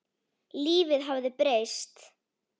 Lífið hafði breyst.